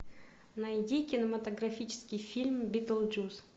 найди кинематографический фильм битлджус